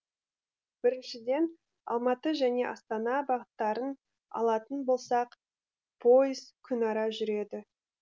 біріншіден алматы және астана бағыттарын алатын болсақ пойыз күнәра жүреді